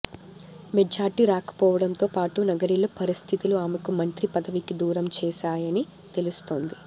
majority రాకపోవడంతో పాటు నగరిలో పరిస్థితులు ఆమెకు మంత్రి పదవికి దూరం చేశాయని తెలుస్తోంది